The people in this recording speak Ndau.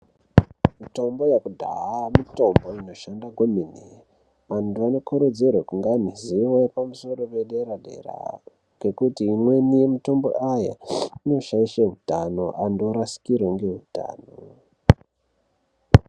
Mitombo wekudhaya mitombo inoshanda kwemene vantu vanokurudzirwe kunga neruzivo pamusoro pedera dera ngekuti imweni yemitombo aya inoshaishe utano antu orasikirwe ngeutano.